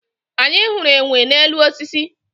anyị hụrụ enwe n'elu osisi